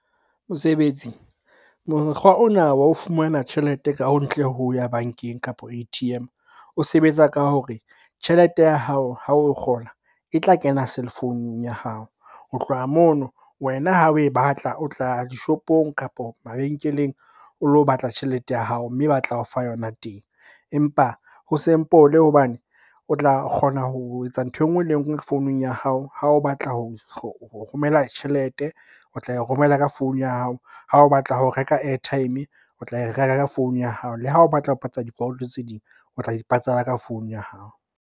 Mosebetsi, mokgwa ona wa ho fumana tjhelete ka ho ntle ho ya bankeng kapo A_T_M. O sebetsa ka hore tjhelete ya hao ha o kgola, e tla kena cellphone-ung ya hao. Ho tloha mono wena ha oe batla, o tla ya dishopong, kapo mabenkeleng o lo batla tjhelete ya hao mme ba tla o fa yona teng. Empa ho simple hobane o tla kgona ho etsa nthwe enngwe le enngwe founung ya hao. Ha o batla ho romela tjhelete o tla e romela ka founu ya hao. Ha o batla ho reka airtime, o tla e reka ka founu ya hao. Le ha o batla ho patala dikoloto tse ding, o tla di patala ka founu ya hao.